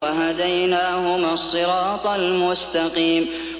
وَهَدَيْنَاهُمَا الصِّرَاطَ الْمُسْتَقِيمَ